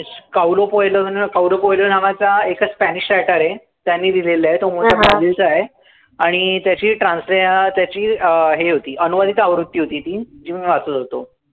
काउलो पोएलो न काउलो पोएलो नावाचा एकच spanish writer आहे. त्यांनी लिहिलेलं आहे. तो मूळचा ब्राझीलचा आहे. आणि त्याची trans त्याची अं हे होती, अनुवादित आवृत्ती होती ती, जी मी वाचत होतो.